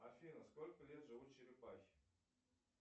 афина сколько лет живут черепахи